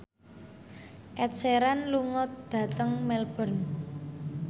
Ed Sheeran lunga dhateng Melbourne